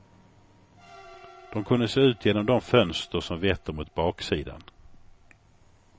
De kunde se ut genom de fönster som vetter mot baksidan.